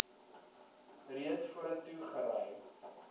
reeds vorentoe gery